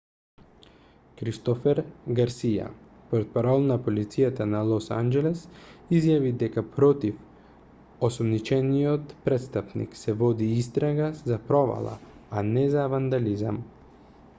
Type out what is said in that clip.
кристофер гарсија портпарол на полицијата на лос анџелес изјави дека против осомничениот престапник се води истрага за провала а не за вандализам